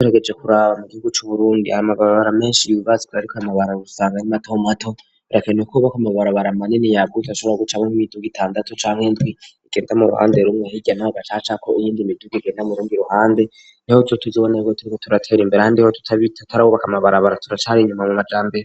Tuturegeje kuraba mu gihugu cu Burundi aya mabarabara menshi yubatswe ariko ayo mabara usanga ari mato mato birakanewe ko buba ko amabarabara manini ya buta ashobora gucamo n'ibiduga itandatu canke indwi igenda mu ruhande rumwe hirya ho gacacako iyindi midugu igenda murundi ruhande niho tuzobone turatera imbere handi ho tutarabubaka amabarabara turacari inyuma mu majambere.